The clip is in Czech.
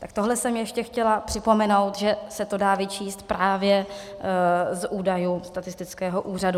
Tak tohle jsem ještě chtěla připomenout, že se to dá vyčíst právě z údajů Statistického úřadu.